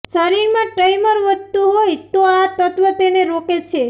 શરીરમાં ટય્મર વધતું હોય તો આ તત્વ તેને રોકે છે